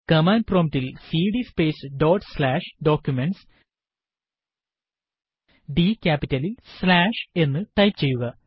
command prompt ൽ cd space dot slash Documentsഡ് ക്യാപിറ്റലിൽ സ്ലാഷ് എന്ന് ടൈപ്പ് ചെയ്യുക